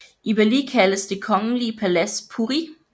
I Bali kaldes det kongelige palads puri